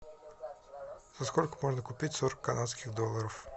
за сколько можно купить сорок канадских долларов